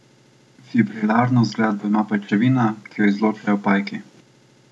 Fibrilarno zgradbo ima pajčevina, ki jo izločajo pajki.